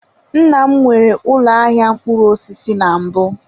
Nna m nwere ụlọ ahịa mkpụrụ osisi na mbụ.